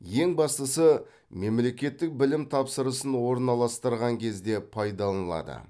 ең бастысы мемлекеттік білім тапсырысын орналастырған кезде пайдаланылады